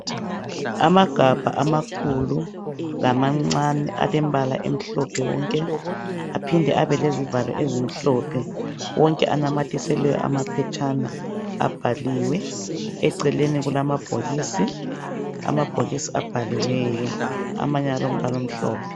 Amagabha amakhulu lamancane alembala emhlophe wonke aphinde abe lezivalo ezimhlophe. Wonke anamathiselwe amaphetshana abhaliwe, eceleni kula mabhokisi, amabhokisi abhaliweyo amanye alombala omhlophe.